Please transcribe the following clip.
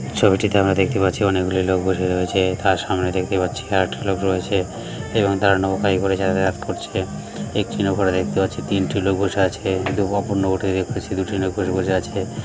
ছবিটিতে আমরা দেখতে পাচ্ছি অনেকগুলি লোক বসে রয়েছে তার সামনে দেখতে পাচ্ছি আর একটা লোক রয়েছে এবং তারা নৌকায় করে যাতাযাত করছে একটি নৌকয় দেখতে পাচ্ছি তিনটি লোক বসে আছে কিন্তু অপর নৌকতে দেখতেছি দুটি লোক বসে বসে আছে।